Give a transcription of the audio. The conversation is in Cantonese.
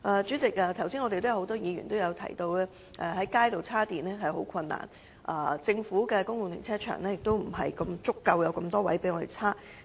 主席，剛才很多議員也提到，現時想在街道上找到充電設施相當困難，政府的公共停車場亦欠缺足夠的充電車位。